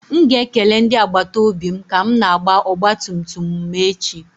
M ga-ekele ndị agbata obi m ka m na-agba ọgba tum tum m echi.